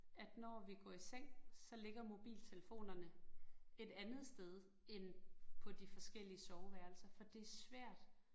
At når vi går i seng, så ligger mobiltelefonerne et andet sted end på de forskellige soveværelser for det svært